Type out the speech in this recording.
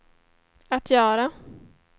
att göra